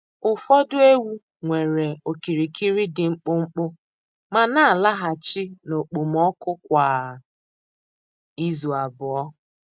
Ụfọdụ ewu nwere okirikiri dị mkpụmkpụ ma na-alaghachi n’okpomọkụ kwa izu abụọ.